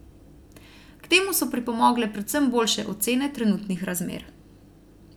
K temu so pripomogle predvsem boljše ocene trenutnih razmer.